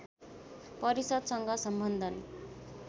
परिषद्सँग सम्बन्धन